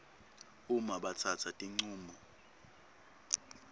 uma batsatsa tincumo